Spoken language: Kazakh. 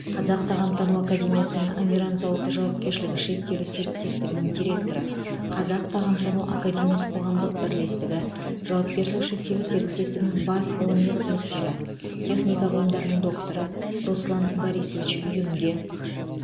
қазақ тағамтану академиясының амиран зауыты жауапкершілігі шектеулі серіктестігінің директоры қазақ тағамтану академиясы қоғамдық бірлестігі жауапкершілігі шектеулі серіктестігінің бас ғылыми қызметкері техника ғылымдарының докторы руслан борисович юнге